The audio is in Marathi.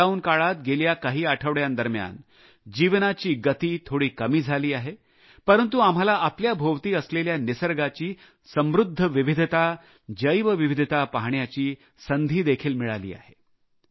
लॉकडाउन काळात गेल्या काही आठवड्यां दरम्यान जीवनाची गती थोडी कमी झाली आहे परंतु आम्हाला आपल्याभोवती असलेल्या निसर्गाची समृद्ध विविधता जैवविविधता पाहण्याची संधी देखील मिळाली आहे